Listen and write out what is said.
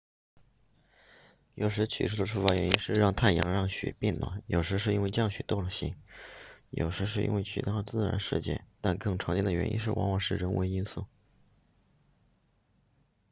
有时起初的触发原因是太阳让雪变暖有时是因为降雪多了些有时是因为其他自然事件但更常见的原因往往是人为因素